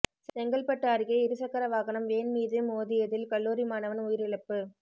செங்கல்பட்டு அருகே இருசக்கர வாகனம் வேன் மீது மோதியதில் கல்லூரி மாணவன் உயிரிழப்பு